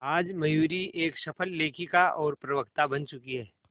आज मयूरी एक सफल लेखिका और प्रवक्ता बन चुकी है